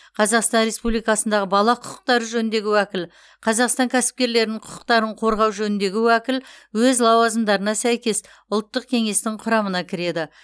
қазақстан республикасындағы бала құқықтары жөніндегі уәкіл қазақстан кәсіпкерлерінің құқықтарын қорғау жөніндегі уәкіл өз лауазымдарына сәйкес ұлттық кеңестің құрамына кіреді